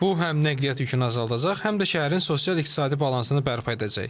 Bu həm nəqliyyat yükünü azaldacaq, həm də şəhərin sosial-iqtisadi balansını bərpa edəcək.